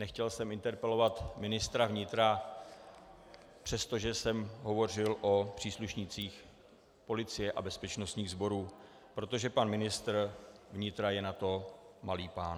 Nechtěl jsem interpelovat ministra vnitra, přestože jsem hovořil o příslušnících policie a bezpečnostních sborů, protože pan ministr vnitra je na to malý pán.